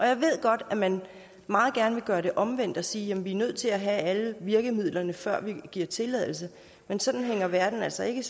jeg ved godt at man meget gerne vil gøre det omvendt og sige at vi er nødt til at have alle virkemidlerne før vi giver tilladelse men sådan hænger verden altså ikke